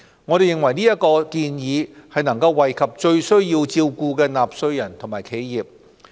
我們認為這項建議已能惠及最需要照顧的納稅人和企業。